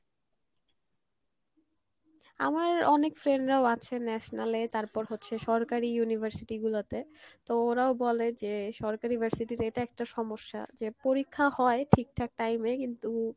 আমার অনেক friend রাও আছে national এ তারপর হচ্ছে সরকারি university গুলোতে তো ওরাও বলে যে সরকারি ভার্সিটি যে এটা একটা সমস্যা যে পরীক্ষা হয় ঠিক ঠাক time এ কিন্তু